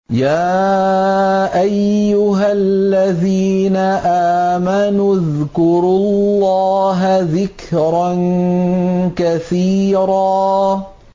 يَا أَيُّهَا الَّذِينَ آمَنُوا اذْكُرُوا اللَّهَ ذِكْرًا كَثِيرًا